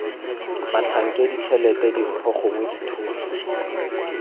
batlhankedi tshelete dimpho gongwe dithuso